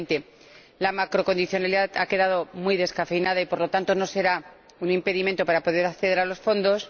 2020. La macrocondicionalidad ha quedado muy descafeinada y, por lo tanto, no será un impedimento para poder acceder a los fondos.